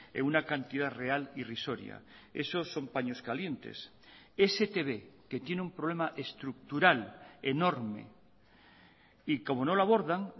en una cantidad real irrisoria eso son paños calientes es etb que tiene un problema estructural enorme y como no lo abordan